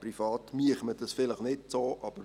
Man würde das privat vielleicht nicht so machen.